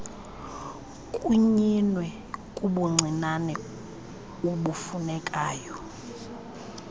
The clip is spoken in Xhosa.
kunyinwe kubuncinane ubufunekayo